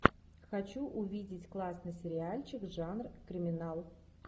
хочу увидеть классный сериальчик жанр криминал